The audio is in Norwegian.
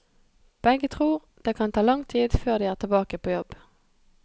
Begge tror det kan ta lang tid før de er tilbake på jobb.